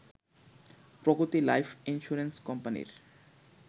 প্রগতি life insurance কোম্পানির